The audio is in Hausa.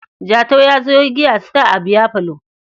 Jatau ya sayo giya Star a biyafalo.